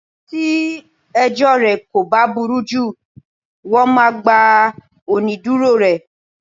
Tí ẹjọ́ rẹ kò bá burú jù, wón máa gba onídùúró rẹ.